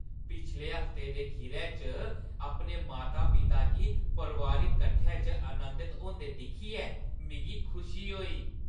पिछले हफ्ते दे खीरै च अपने माता पिता गी परोआरिक कट्ठै च आनंदत होंदे दिक्खियै मिगी खुशी होई।